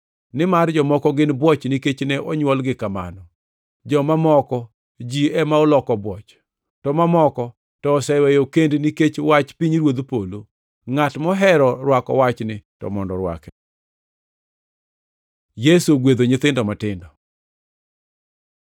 Nimar jomoko gin bwoch nikech ne onywolgi kamano, joma moko ji ema oloko bwoch, to mamoko to oseweyo kend nikech wach pinyruodh polo. Ngʼat mohero rwako wachni to mondo orwake.” Yesu ogwedho nyithindo matindo